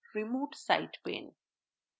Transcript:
remote site pane